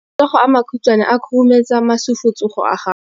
matsogo a makhutshwane a khurumetsa masufutsogo a gago